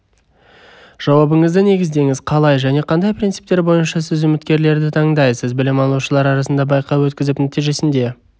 жауабыңызды негіздеңіз қалай және қандай принциптер бойынша сіз үміткерлерді таңдайсыз білім алушылар арасында байқау өткізіп нәтижесінде